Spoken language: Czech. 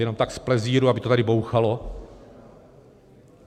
Jenom tak z plezíru, aby to tady bouchalo?